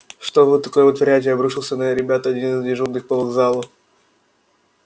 что вы такое вытворяете обрушился на ребят один из дежурных по вокзалу